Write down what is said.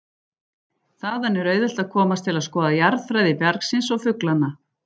Þaðan er auðvelt að komast til að skoða jarðfræði bjargsins og fuglana.